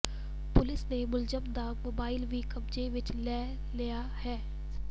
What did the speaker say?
police ਨੇ ਮੁਲਜ਼ਮ ਦਾ ਮੋਬਾਈਲ ਵੀ ਕਬਜ਼ੇ ਵਿੱਚ ਲੈ ਲਿਆ ਹੈ